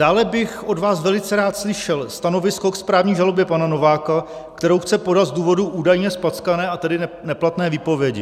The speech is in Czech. Dále bych od vás velice rád slyšel stanovisko k správní žalobě pana Nováka, kterou chce podat z důvodu údajně zpackané, a tedy neplatné výpovědi.